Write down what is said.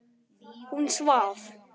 Hún svaf.